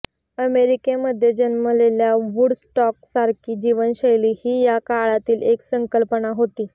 अमेरिकेमध्ये जन्मलेल्या वुडस्टॉक सारखी जीवनशैली ही या काळातील एक संकल्पना होती